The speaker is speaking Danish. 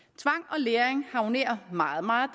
læring harmonerer meget meget